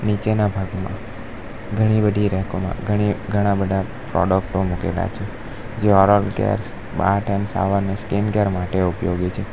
નીચેના ભાગમાં ઘણી બધી રેકો મા ઘણી ઘણા બધા પ્રોડક્ટો મુકેલા છે જે oral care bath and shower ને સ્કીન કેર માટે ઉપયોગી છે.